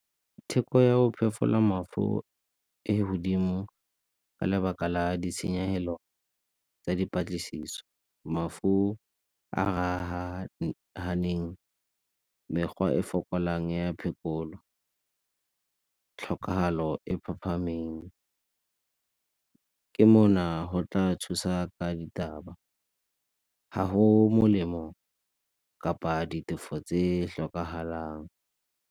Theko ya go mafu e godimo ka lebaka la ditshenyegelo tsa dipatlisiso, mafu a , mekgwa e fokolang ya phekolo, tlhokagalo e phaphameng, ke mona go tla thusa ka ditaba. Ga go molemo kapa ditefo tse hlokahalang.